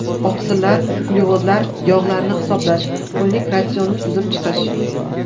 Oqsillar, uglevodlar, yog‘larni hisoblash, kunlik ratsionni tuzib chiqish.